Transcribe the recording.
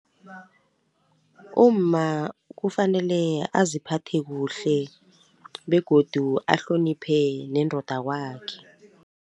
Umma kufanele aziphathe kuhle begodu ahloniphe nendoda kwakhe.